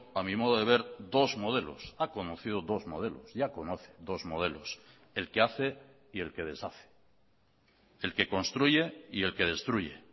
a mi modo de ver dos modelos ha conocido dos modelos ya conoce dos modelos el que hace y el que deshace el que construye y el que destruye